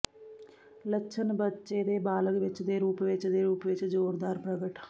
ਲੱਛਣ ਬੱਚੇ ਦੇ ਬਾਲਗ ਵਿੱਚ ਦੇ ਰੂਪ ਵਿੱਚ ਦੇ ਰੂਪ ਵਿੱਚ ਜ਼ੋਰਦਾਰ ਪ੍ਰਗਟ